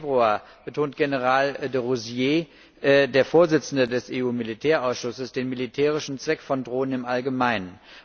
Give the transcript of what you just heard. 12.Februar betonte General de Rousiers, der Vorsitzende des EU Militärausschusses, den militärischen Zweck von Drohnen im Allgemeinen.